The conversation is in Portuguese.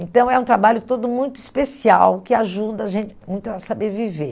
Então, é um trabalho todo muito especial, que ajuda a gente muito a saber viver.